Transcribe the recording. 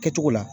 Kɛcogo la